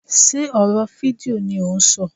Sé ọ̀rọ̀ fídíò ni ò ń ṣọ.